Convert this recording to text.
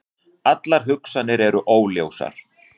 Allar hugsanir eru óljósar.